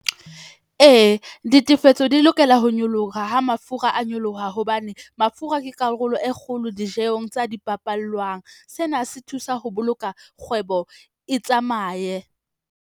Ee, ditefetso di lokela ho nyoloha ha mafura a nyoloha hobane mafura ke karolo e kgolo dijehong tsa dipapalwang. Sena se thusa ho boloka kgwebo, e tsamaye.